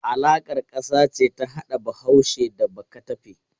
Alaƙar ƙasa ce ta hada Bahaushe da Bakatafe.